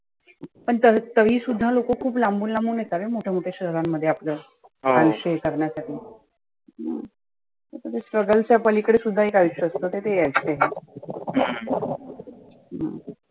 पण तर तरी सुद्धा लोक खुप लांबून लांबून येतात रे मोठ्या मोठ्या शहरामध्ये आपलं. हे करण्यासाठी. struggle च्या पलिकडे सुद्धा एक आयुष्य असतं. तर ते हे आयुष्य